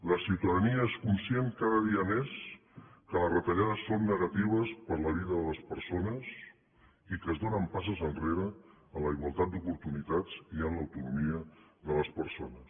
la ciutadania és conscient cada dia més que les retallades són negatives per a la vida de les persones i que es donen passes enrere en la igualtat d’oportunitats i en l’autonomia de les persones